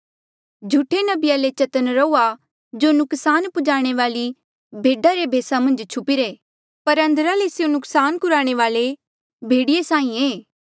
झूठे नबिया ले चतन्न रहुआ जो नुकसान पुजाणे वाली भेडा रे भेसा मन्झ छुपिरे पर अंदरा ले स्यों नुकसान कुराणे वाल्ऐ भेड़िये साहीं ऐें